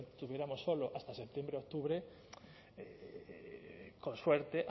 obtuviéramos solo hasta septiembre octubre con suerte